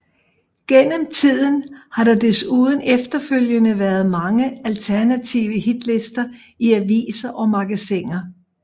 Gennem tiden har der desuden efterfølgende været mange alternative hitlister i aviser og magasiner